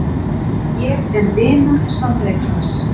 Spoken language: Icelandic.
Ég er vinur sannleikans.